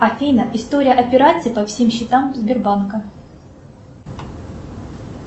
афина история операций по всем счетам сбербанка